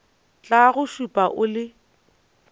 tla go šupa o le